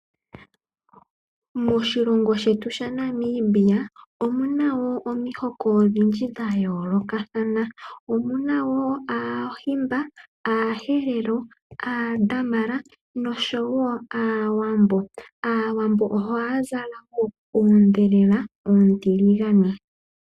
Moshilongo shetu shaNamibia omu na omihoko odhindji dhayoolokathana . Omu na woo aaHimba , aaHerero , aaDamara oshowo aaWambo. Aawambo ohaya zala oondhelela oontiligane .